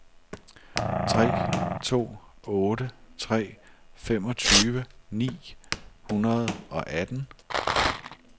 tre to otte tre femogtyve ni hundrede og atten